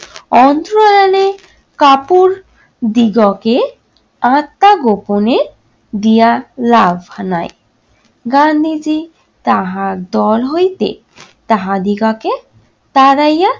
অন্তরালে কাপড় দিগকে আত্না গোপনের দিয়া গান্ধীজি তাহার দল হইতে তাহাদিগকে তাড়াইয়া